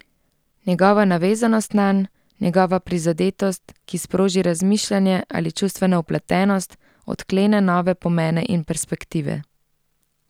Njegova navezanost nanj, njegova prizadetost, ki sproži razmišljanje ali čustveno vpletenost, odklene nove pomene in perspektive.